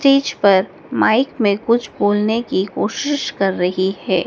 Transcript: तीज पर माइक में कुछ बोलने की कोशिश कर रही है।